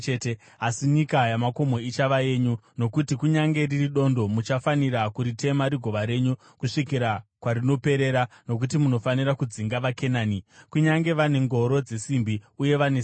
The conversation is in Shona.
asi nyika yamakomo ichava yenyu; nokuti kunyange riri dondo, muchafanira kuritema rigova renyu kusvikira kwarinoperera, nokuti munofanira kudzinga vaKenani, kunyange vane ngoro dzesimbi uye vane simba.”